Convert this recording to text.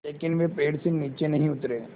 लेकिन वे पेड़ से नीचे नहीं उतरे